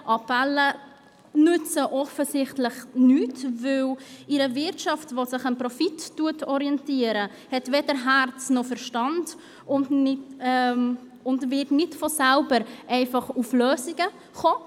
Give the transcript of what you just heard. Appelle nützen offensichtlich nichts, denn eine Wirtschaft, die sich am Profit orientiert, hat weder Herz noch Verstand und wird nicht von selber einfach auf Lösungen kommen.